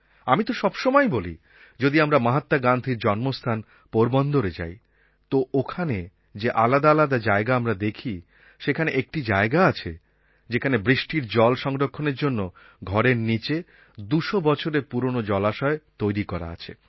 আমি তো সবসময়ই বলি যে যদি আমরা মহাত্মা গান্ধীর জন্মস্থান পোরবন্দরে যাই তো ওখানে যে আলাদা আলাদা জায়গা আমরা দেখি সেখানে একটি জায়গা আছে যেখানে বৃষ্টির জল সংরক্ষণের জন্য ঘরের নীচে ২০০ বছরের পুরনো জলাশয় তৈরি করা আছে